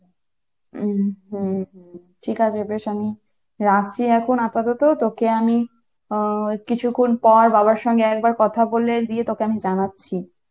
হম হম, ঠিক আছে বেশ আমি রাখছি এখন আপাতত তোকে আমি হম কিছুক্ষন পর বাবার সাথে একবার কথা বলে দিয়ে তোকে আমি জানাচ্ছি